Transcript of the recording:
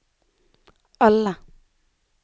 alle